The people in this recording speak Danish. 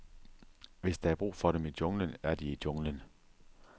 Hvis der er brug for dem i junglen, er de i junglen.